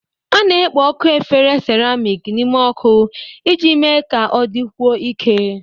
A na-ekpo ọkụ efere seramiiki n'ime ọkụ iji mee ka ọ dịkwuo ike.